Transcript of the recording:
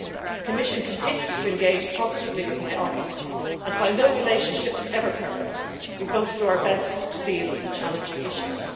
The Commission continues to engage positively with my office and, while no relationship is ever perfect, we both do our best to deal with challenging issues.